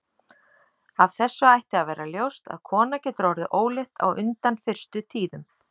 Af þessu ætti að vera ljóst að kona getur orðið ólétt á undan fyrstu tíðum.